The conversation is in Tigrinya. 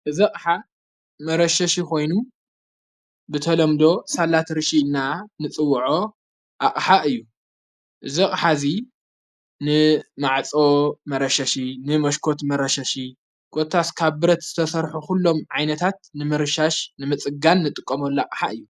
እዚ አቕሓ መረሸሽ ኾይኑ ብተሎምዶ ሣላት ርሽ ና ንጽውዖ ኣቕሓ እዩ እዘቕሓ እዙ ንማዕጾ መረሸሽ ንመሽኮት መረሸሺ ጐታስ ካብረት ዝተሠርሑ ዂሎም ዓይነታት ንምርሻሽ ንምጽጋን ንጥቆም ኣላቕሓ እዩ::